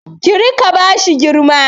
Kí rika bashi girma